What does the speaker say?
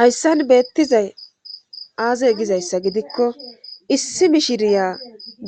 hayssan beettizay aaze gizayssa gidikko issi mishiriya